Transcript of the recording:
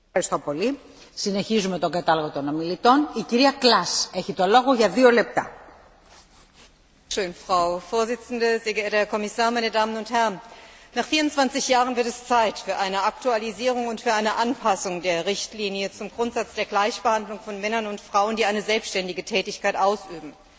Frau Präsidentin, sehr geehrter Herr Kommissar, meine Damen und Herren! Nach 24 Jahren wird es Zeit für eine Aktualisierung und Anpassung der Richtlinie zum Grundsatz der Gleichbehandlung von Männern und Frauen, die eine selbständige Tätigkeit ausüben.